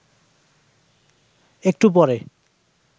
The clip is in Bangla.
একটু পরে